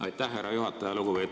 Aitäh, härra juhataja!